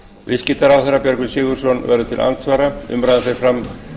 viðskiptaráðherra björgvin sigurðsson verður til andsvara umræðan fer fram